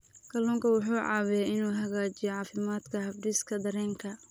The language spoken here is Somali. Kalluunku wuxuu caawiyaa inuu hagaajiyo caafimaadka habdhiska dareenka.